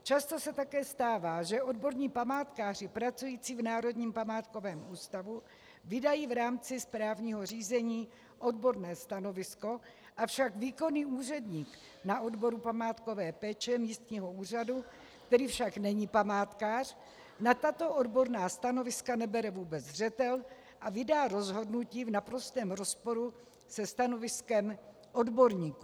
Často se také stává, že odborní památkáři pracující v Národním památkovém ústavu vydají v rámci správního řízení odborné stanovisko, avšak výkonný úředník na odboru památkové péče místního úřadu, který však není památkář, na tato odborná stanoviska nebere vůbec zřetel a vydá rozhodnutí v naprostém rozporu se stanoviskem odborníků.